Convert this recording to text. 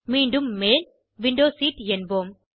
மீண்டும் மேல் window seat என்போம்